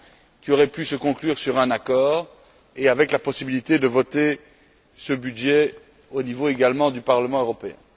qui aurait pu se conclure par un accord et avec la possibilité de voter ce budget également au niveau du Parlement européen.